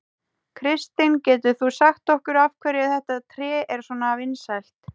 Kristinn, getur þú sagt okkur af hverju þetta tré er svona vinsælt?